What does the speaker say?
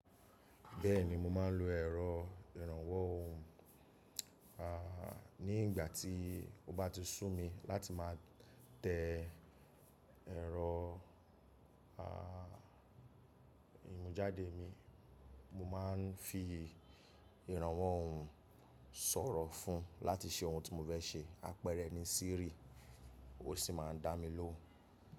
Bẹ́ẹ̀ni mo máa ń lo ẹ̀rọ ìrànwọ́ ohùn. À nígbà tí ó bá ti sùn mi láti má tẹ ẹ̀rọ à ìmujáde mi, mo máa ń fi ìrànwọ́ ohùn sọ̀rọ̀ fún láti ṣe ohun tí mo fẹ́ ṣe. Àpẹẹrẹ ni Siri, ó sì máa ń dá mi lóhùn.